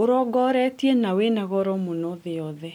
ũrongoretie na wĩnagoro mũno thĩ yothe